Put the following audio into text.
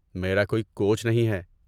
میرا کوئی کوچ نہیں ہے۔